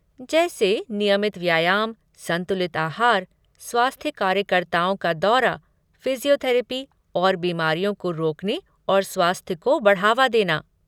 जैसे नियमित व्यायाम, संतुलित आहार, स्वास्थ्य कार्यकर्ताओं का दौरा, फिज़ियोथेरपी, और बीमारियों को रोकने और स्वास्थ्य को बढ़ावा देना।